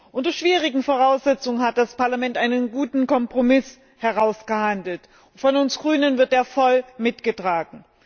Unter schwierigen Voraussetzungen hat das Parlament einen guten Kompromiss ausgehandelt und von uns Grünen wird er voll mitgetragen.